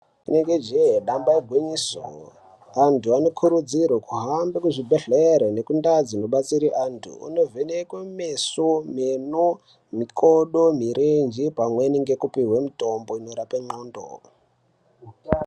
Inenge jee damba igwinyiso, antu anokurudzirwe kuhambe kuchibhodhlere nekuntaa dzinobatsirwa antu anovhenekwe meso, meno, mikodo, mirenje pamweni ngekupihwe mitombo inorape ndxondo.